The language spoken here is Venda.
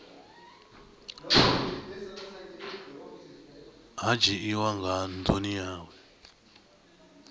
ha dzhiiwa nga ndumi yawe